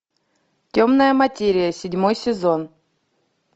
темная материя седьмой сезон